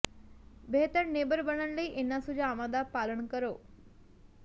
ਬਿਹਤਰ ਨੇਬਰ ਬਣਨ ਲਈ ਇਹਨਾਂ ਸੁਝਾਵਾਂ ਦਾ ਪਾਲਣ ਕਰੋ